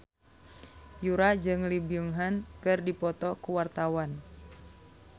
Yura jeung Lee Byung Hun keur dipoto ku wartawan